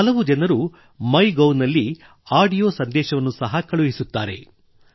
ಹಲವು ಜನರು ಆಡಿಯೋ ಸಂದೇಶವನ್ನು ಸಹ ಕಳುಹಿಸುತ್ತಾರೆ